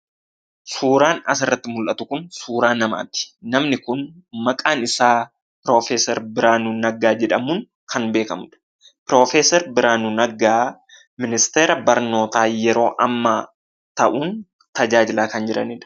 Suuraan asirratti mul'atu kun suuraa namaati. Namni kun maqaan isaa Piroofeeser Biraanuu aggaa jedhamuun kan beekamudha. Piroofeeser Biraanuu Naggaa ministeera barnootaa yeroo ammaa ta'uun tajaajilaa kan jiranidha.